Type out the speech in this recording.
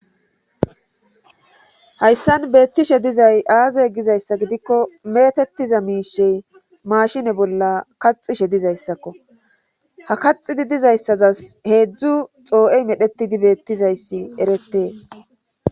Hayssan beettishe dizay aazey gizayssa gidikko metettiza miishey mashine bolla kaxishe dizayssakko ha kaxidi dizayssazas heedzdzu xoo7ey medhetidi beettizayssi eretees.